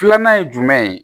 Filanan ye jumɛn ye